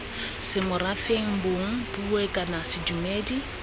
semorafeng bong puo kana sedumedi